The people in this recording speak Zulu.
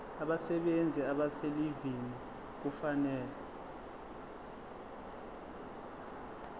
abasebenzi abaselivini kufanele